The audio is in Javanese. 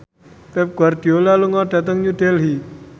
Pep Guardiola lunga dhateng New Delhi